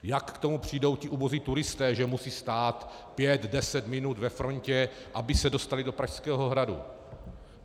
Jak k tomu přijdou ti ubozí turisté, že musí stát pět, deset minut ve frontě, aby se dostali do Pražského hradu?